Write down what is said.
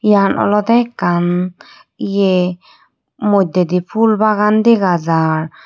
Eyan olode ekkan ye moddedi phul bagaan dega jaar.